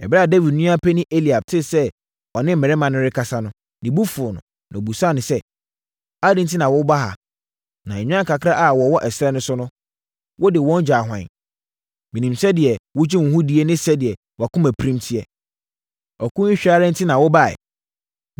Ɛberɛ a Dawid nua panin Eliab tee sɛ ɔne mmarima no rekasa saa no, ne bo fuu no, na ɔbisaa sɛ, “Adɛn enti na woaba ha? Na nnwan kakra a wɔwɔ ɛserɛ so no, wode wɔn gyaa hwan? Menim sɛdeɛ wogye wo ho die ne sɛdeɛ wʼakomapirim teɛ. Ɔko yi hwɛ ara enti na wobaeɛ.”